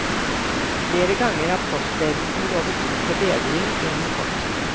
Flere ganger har postledelsen lovet bot og bedring innen kort tid.